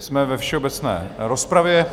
Jsme ve všeobecné rozpravě.